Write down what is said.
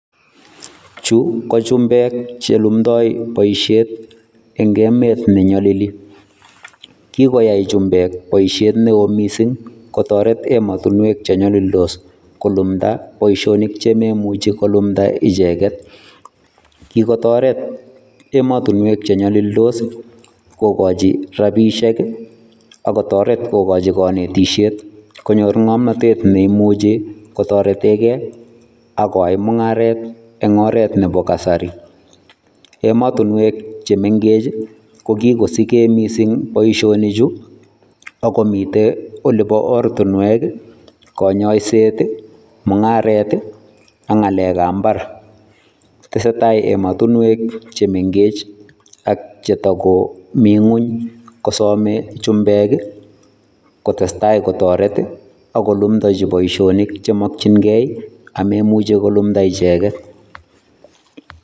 Chu ko chumbek chelumdoi boishet eng emet neyolili. Kikoyai chumbek boishet neo mising kotoret emotinwek chenyolildos kolumda boishonik chimemuchi kolumda icheket. Kikotoret emotinwek chenyolildos kokochi rapiishek, ak kotoret kokochi kanetishet konyor ng'omnatet neimuchi kotaretekei ak koyai mung'aret eng oret nepo kasari. Emotinwek chemenkech ko kokosike mising boishonichu, ak komite olipo ortinwek, kanyoiset, mung'aret, ak ng'alekap mbar. Tesetai emotunwek chemenkech ak chetakomi ng'uny kosome chumbek, kotestai kotoret, ak kolumdachi boishonik chemokchinkei, amemuchi kolumda icheket.